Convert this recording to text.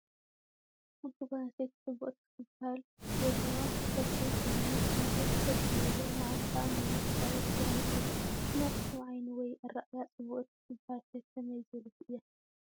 ሓንቲ ጓል ኣነስተይ ፅብቅቲ ክትበሃል እትበሃል ዘለዋ ተክሊ ሰውነት ማለት ሸጥ ዝበለ ማዓንጣ ነዋሕ ኣጫብዕቲ ዝኮነት እያ። ብናትኩም ዓይኒ ወይ ኣረኣያ ፅብቅቲ ትበሃል ከ ከመይ ዝበለት እያ?